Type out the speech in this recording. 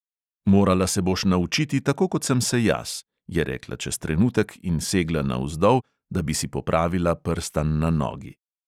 "Morala se boš naučiti, tako kot sem se jaz," je rekla čez trenutek in segla navzdol, da bi si popravila prstan na nogi.